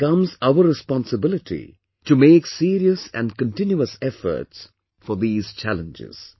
It becomes our responsibility to make serious and continuous efforts for these challenges